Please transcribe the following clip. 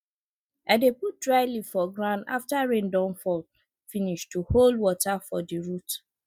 i dey put dry leaf for ground after rain don fall finish to hold water for di root